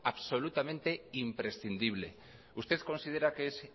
absolutamente imprescindible usted considera que es